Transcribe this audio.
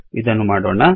ಇದನ್ನು ಮಾಡೋಣ